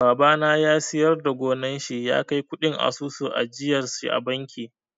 Babana ya siyar da gonar shi ya kai kuɗin asusun ajiyarshi a banki.